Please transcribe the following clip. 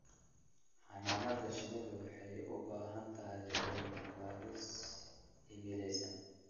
Xannaanada shinnidu waxay u baahan tahay cilmi-baadhis cilmiyaysan.